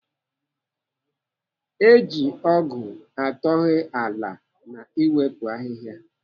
Eji ọgụ atọhee ala na iwepụ ahịhịa.